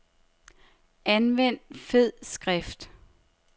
Anvend fed skrift.